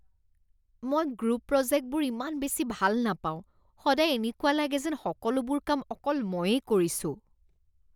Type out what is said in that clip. মই গ্ৰুপ প্ৰজেক্টবোৰ ইমান বেছি ভাল নাপাওঁ, সদায় এনেকুৱা লাগে যেন সকলোবোৰ কাম অকল ময়েই কৰিছোঁ।